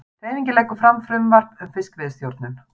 Hreyfingin leggur fram frumvarp um fiskveiðistjórnun